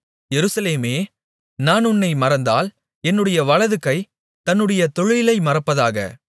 எருசலேமே நான் உன்னை மறந்தால் என்னுடைய வலதுகை தன்னுடைய தொழிலை மறப்பதாக